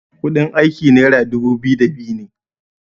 kudin aiki naira dubu biyu da biyu ne